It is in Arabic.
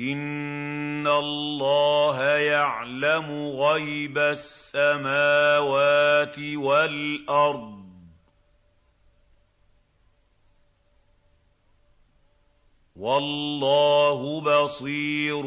إِنَّ اللَّهَ يَعْلَمُ غَيْبَ السَّمَاوَاتِ وَالْأَرْضِ ۚ وَاللَّهُ بَصِيرٌ